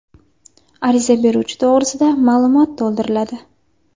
Ariza beruvchi to‘g‘risida ma’lumot to‘ldiriladi.